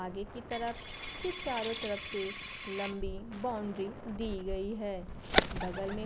आगे की तरफ से चारों तरफ से लंबी बाउंड्री दी गई है बगल में--